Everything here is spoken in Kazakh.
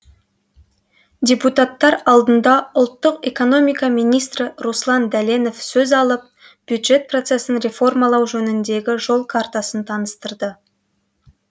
депутаттар алдында ұлттық экономика министрі руслан дәленов сөз алып бюджет процесін реформалау жөніндегі жол картасын таныстырды